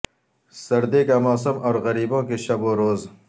سردی کا موسم اور غریبوں کے شب و روز